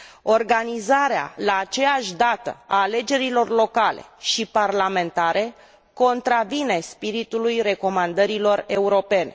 Organizarea la aceeași dată a alegerilor locale și parlamentare contravine spiritului recomandărilor europene.